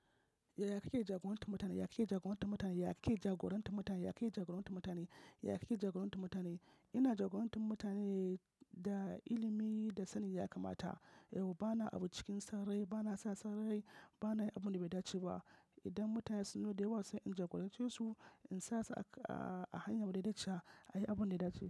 Ya yake jagorantar mutane? Ya yake jagorantar mutane? Ya yake jagorantar mutane? Ya yake jagorantar mutane? Ya yake jagorantar mutane? Ina jagorantar mutane da ilimi da sani ya kamata. Bana abu cikin sarrai, bana sa sarrai, bana yi abin da bai dace ba. Idan mutane sun loda wasu, in jagorace su in sa su a hanya mai daidai chiya, a yi abun da ya dace.